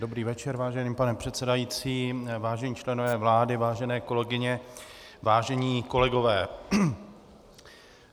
Dobrý večer, vážený pane předsedající, vážení členové vlády, vážené kolegyně, vážení kolegové.